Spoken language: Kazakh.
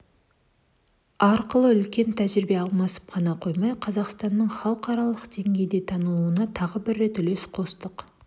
арқылы үлкен тәжірибе алмасып қана қоймай қазақстанның халықаралық деңгейде танылуына тағы бір рет үлес қостық